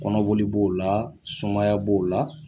Kɔnɔ boli b'o la sumaya b'o la